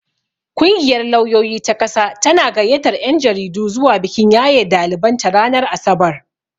Kungiyar lauyoyi ta ƙasa tana gayyatar 'yan jaridu zuwa bikin yaye daliban ta ranar asabar.